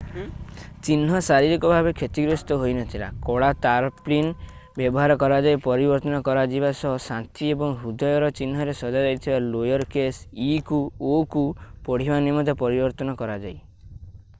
ଚିହ୍ନ ଶାରୀରିକ ଭାବେ କ୍ଷତିଗ୍ରସ୍ତ ହୋଇନଥିଲା କଳା ତାରପ୍ଳିନ ବ୍ୟବହାର କରାଯାଇ ପରିବର୍ତ୍ତନ କରାଯିବା ସହ ଶାନ୍ତି ଏବଂ ହୃଦୟର ଚିହ୍ନରେ ସଜା ଯାଇଥିଲା ଲୋୟର କେସ୍ ଇ କୁ ଓ କୁ ପଢିବା ନିମନ୍ତେ ପରିବର୍ତ୍ତନ କରଯାଇ